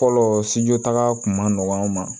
Fɔlɔ sijɔ taga kun ma nɔgɔn an ma